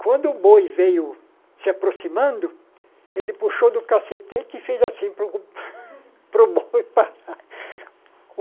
Quando o boi veio se aproximando, ele puxou do cacetete e fez assim para o para o boi parar.